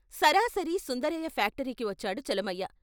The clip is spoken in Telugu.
సరాసరి సుందరయ్య ఫ్యాక్టరీకి వచ్చాడు చలమయ్య.